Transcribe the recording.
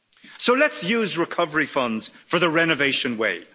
So let's use recovery funds for the renovation way.